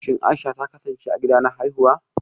Shi Aisha ta kasance a gida na haifuwa